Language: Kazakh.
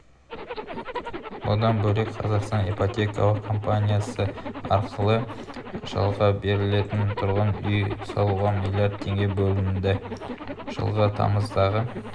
бұдан бөлек қазақстан ипотекалық компаниясы арқылы жалға берілетін тұрғын үй салуға млрд теңге бөлінді жылғы тамыздағы